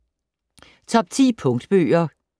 Top 10 Punktbøger